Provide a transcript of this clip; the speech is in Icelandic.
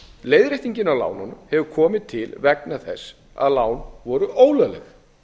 leiðréttingin á lánunum hefur komið til vegna þess að lán voru ólögleg